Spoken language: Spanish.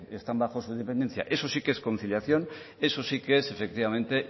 están bajo su dependencia eso sí que es conciliación eso sí que es efectivamente